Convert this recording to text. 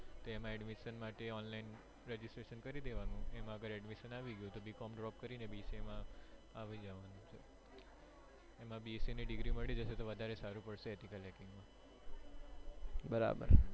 તો એમાં admission માટે online registration કરી દેવાનું જો એમાં અગર admissiom આવી ગયું તો b. com drop કરીને bca માં આવી જવાનું bCA degree મળી જશે તો વધારે સારું પડશે